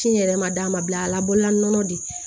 Fiɲɛ yɛrɛ ma d'a ma bi a labɔ la nɔnɔ de